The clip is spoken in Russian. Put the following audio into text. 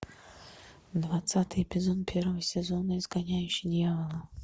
двадцатый эпизод первого сезона изгоняющий дьявола